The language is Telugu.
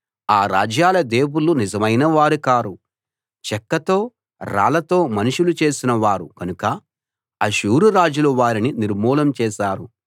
ఆ రాజ్యాల దేవుళ్ళు నిజమైనవారు కారు చెక్కతో రాళ్ళతో మనుషులు చేసిన వారు కనుక అష్షూరు రాజులు వారిని నిర్మూలం చేశారు